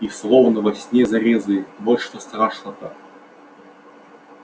и словно во сне зарезали вот что страшно-то